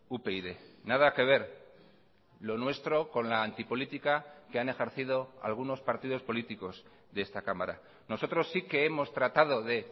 upyd nada que ver lo nuestro con la anti política que han ejercido algunos partidos políticos de esta cámara nosotros sí que hemos tratado de